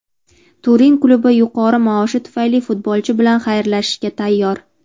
Turin klubi yuqori maoshi tufayli futbolchi bilan xayrlashishga tayyor.